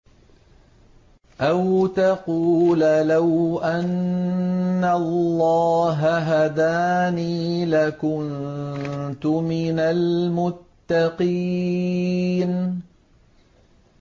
أَوْ تَقُولَ لَوْ أَنَّ اللَّهَ هَدَانِي لَكُنتُ مِنَ الْمُتَّقِينَ